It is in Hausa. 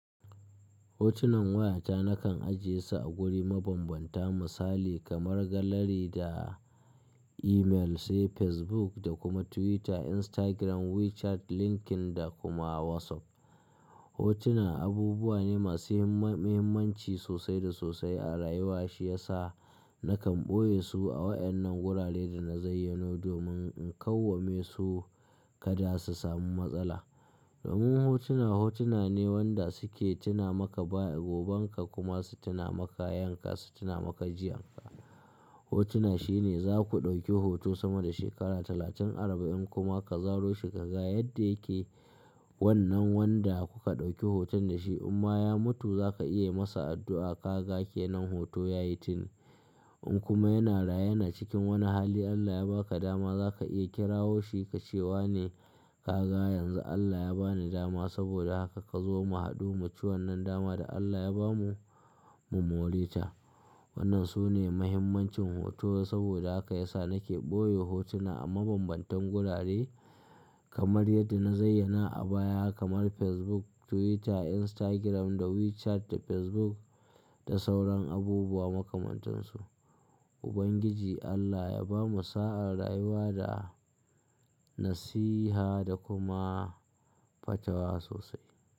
Hotunan wayata nakan ajiye su a guri mabambanta misali kamar gallery da email sai Facebook da kuma Twitter, Instagram, WeChat, LinkedIn da kuma WhatsApp. Hotuna abubuwa ne masu muhimmanci sosai da sosai a rayuwa shiyasa nakan ɓoye su a waɗannan wuraren da na zayyano domin in kawame su kada su samu matsala. Domin hotuna hotuna ne wanda suke tuna maka bayan gobanka kuma su tuna maka yankka su tuna maka jiyanka. Hotuna shine za ku ɗauki hoto sama da shekara talatin arba'in kuma ka zaro shi ka ga yadda yake wannan wanda kuka ɗauki hoton da shi in ma ya mutu za ka iya yi masa addu'a ka ga ke nan hoto ya yi tuni. In kuma yana raye yana cikin wani hali Allah ya ba ka dama za ka iya kirawo shi ka ce wa ne ka ga yanzu Allah ya ba ni dama saboda haka ka zo mu haɗu mu ci wannan daman da Allah ya bamu mu more ta. Wannan sune muhimmancin hoto saboda haka ya sa nake ɓoye hotuna a mabambantan wurare kamar yadda na zayyana a baya kamar Facebook, Twitter, Instagram da WeChat da Facebook da sauran abubuwa makamantansu. Ubangiji Allah ya bamu sa'a, rayuwa da nasiha da kuma fatawa sosai.